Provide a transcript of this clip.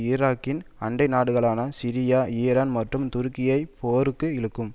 ஈராக்கின் அண்டை நாடுகளான சிரியா ஈரான் மற்றும் துருக்கியையும் போருக்கு இழுக்கும்